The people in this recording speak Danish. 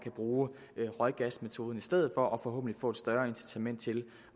bruge røggasmetoden i stedet for og forhåbentlig få et større incitament til